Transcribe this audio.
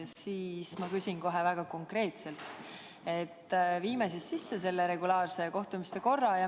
Ma pakungi kohe väga konkreetselt, et viime siis sisse selle regulaarsete kohtumiste korra.